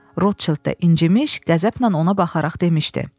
Rotçeld də incimiş, qəzəblə ona baxaraq demişdi: